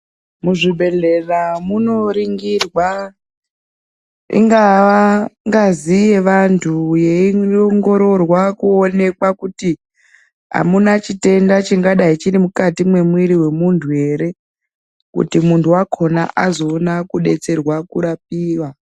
Muzvibhehlera munoringirwa ingava ngazi yevantu yeiwongororwa kuti amuna chitenda ere chingadai chiri mukati mwemuntu ere, kuti muntu wakona azoona kudetserwa kurapiwa.